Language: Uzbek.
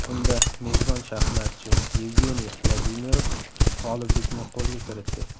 Unda mezbon shaxmatchi Yevgeniy Vladimirov g‘oliblikni qo‘lga kiritdi.